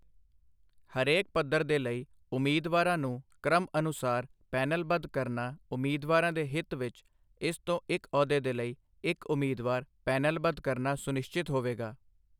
ਹਰੇਕ ਪੱਧਰ ਦੇ ਲਈ ਉਮੀਦਵਾਰਾਂ ਨੂੰ ਕ੍ਰਮਅਨੁਸਾਰ ਪੈਨਲਬੱਧ ਕਰਨਾ ਉਮੀਦਵਾਰਾਂ ਦੇ ਹਿਤ ਵਿੱਚ, ਇਸ ਤੋਂ ਇੱਕ ਅਹੁਦੇ ਦੇ ਲਈ ਇੱਕ ਉਮੀਦਵਾਰ ਪੈਨਲਬੱਧ ਕਰਨਾ ਸੁਨਿਸ਼ਚਿਤ ਹੋਵੇਗਾ